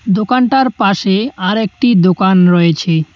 দোকানটার পাশে আরেকটি দোকান রয়েছে।